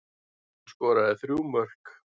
Hún skoraði þrjú mörk